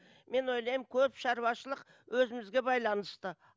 мен ойлаймын көп шаруашылық өзімізге байланысты